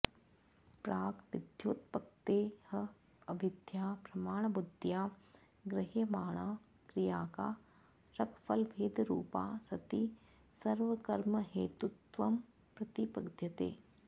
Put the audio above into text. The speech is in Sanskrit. प्राक् विद्योत्पत्तेः अविद्या प्रमाणबुद्ध्या गृह्यमाणा क्रियाकारकफलभेदरूपा सती सर्वकर्महेतुत्वं प्रतिपद्यते